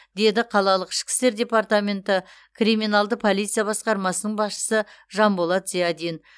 деді қалалық ішкі істер департмаменті криминалды полиция басқармасының басшысы жанболат зиадин